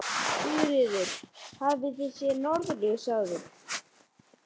Sigríður: Hafið þið séð norðurljós áður?